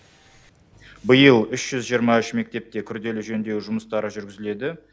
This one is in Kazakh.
биыл үш жүз жиырма үш мектепте күрделі жөндеу жұмыстары жүргізіледі